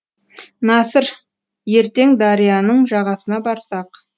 насыр ертең дарияның жағасына барсақ